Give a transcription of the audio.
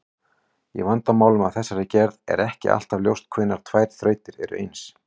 Í vandamálum af þessari gerð er ekki alltaf ljóst hvenær tvær þrautir eru eins.